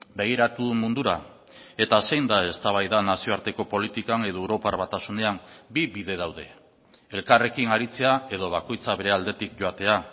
begiratu mundura eta zein da eztabaida nazioarteko politikan edo europar batasunean bi bide daude elkarrekin aritzea edo bakoitzak bere aldetik joatea